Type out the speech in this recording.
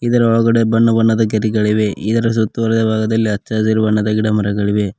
ಇದರ ಒಳಗಡೆ ಬಣ್ಣ ಬಣ್ಣದ ಗೆರೆಗಳಿವೆ ಇದರ ಸುತ್ತುವರೆದ ಭಾಗದಲ್ಲಿ ಅಚ್ಚ ಹಸಿರು ಬಣ್ಣದ ಗಿಡಮರಗಳಿವೆ.